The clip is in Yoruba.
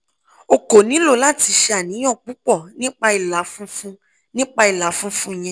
o ko nilo lati ṣe aniyan pupọ nipa ila funfun nipa ila funfun yẹn